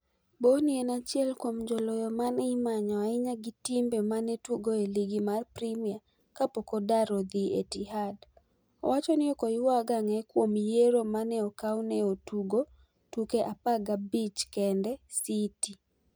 Bony en achiel kuom joloyo mane imanyo ahinya gi timbe mane tugo e ligi mar Premia kapok odar odhie Etihad . owachoni ok oywag ang'e kuom yiero mane okaw ne otugo tuke 15 kende City.